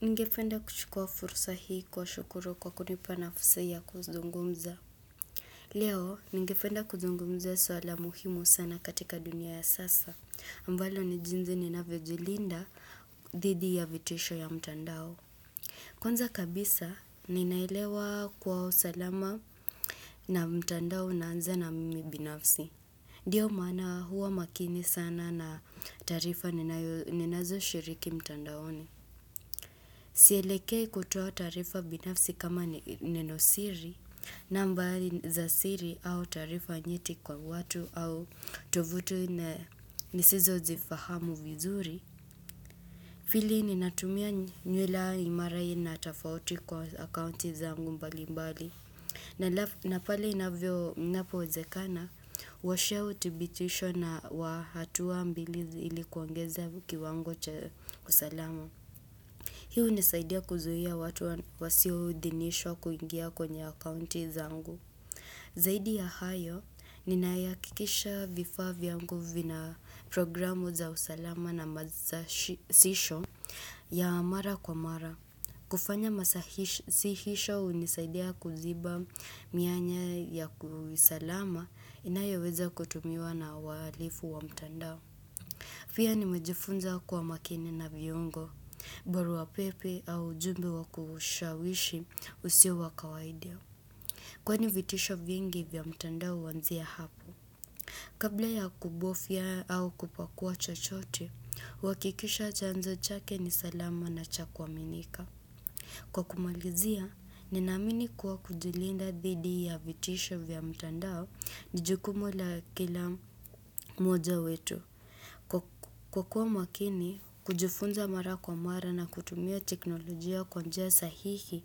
Nigependa kuchukua fursa hii kuwashukuru kwa kunipa nafasi ya kuzungumza. Leo, nigependa kuzungumzia swala muhimu sana katika dunia ya sasa. Ambalo ni jinzi ninavyojilinda dhidi ya vitisho ya mtandao. Kwanza kabisa, ninaelewa kywa usalama na mtandao unaanza na mimi binafsi. Ndiyo maana huwa makini sana na taarifa ninazoshiriki mtandaoni. Sielekei kutoa taarifa binafsi kama nenosiri, nambari za siri au taarifa nyeti kwa watu au tuvutu nisizozifahamu vizuri. Fili ninatumia nywila imara aina tafauti kwa akaunti zangu mbali mbali. Na pale inapowezekana, huwasha utibitisho wa hatuwa mbili ili kuongeza kiwango cha usalamu. Hii hunisaidia kuzuhia watu wasio udhinishwa kuingia kwenye akaunti zangu. Zaidi ya hayo, ninaihakikisha vifaa vyangu vina programu za usalama na masasisho ya mara kwa mara. Kufanya masasihisho unisaidia kuziba mianya ya kiusalama inayoweza kutumiwa na walifu wa mtandao. Pia nimejifunza kuwa makini na viungo, baruapepe au ujumbe wa kushawishi usio wa kawaidia. Kwani vitisho vingi vya mtandao huanzia hapo. Kabla ya kubofya au kupakua chochote, huakikisha chanzo chake ni salama na cha kuaminika. Kwa kumalizia, ninaamini kuwa kujulinda dhidi ya vitisho vya mtandao ni jukumu la kila moja wetu. Kwa kuwa mwakini, kujifunza mara kwa mara na kutumia teknolojia kwa njia sahihi,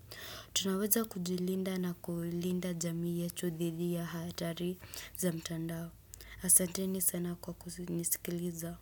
tunaweza kujilinda na kuulinda jamii yetu dhidhi ya hatari za mtandao. Asanteni sana kwa kunisikiliza.